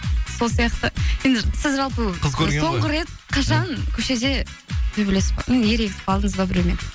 сол сияқты сен сіз жалпы қыз көрген ғой соңғы рет қашан көшеде төбелесіп м ерегісіп қалдыңыз ба біреумен